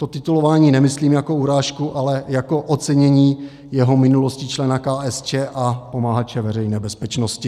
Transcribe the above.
To titulování nemyslím jako urážku, ale jako ocenění jeho minulosti člena KSČ a pomahače Veřejné bezpečnosti.